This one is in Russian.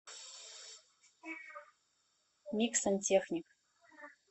мик сантехник